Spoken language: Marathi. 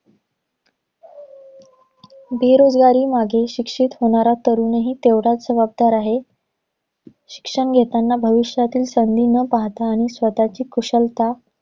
बेरोजगारीमागे शिक्षित होणारा तरुणही तितकाच जबाबदार आहे शिक्षण घेतांना भविष्यातील संधी न पाहता आणि स्वतःची कुशलता